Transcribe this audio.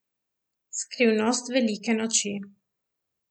Skrivnost velike noči.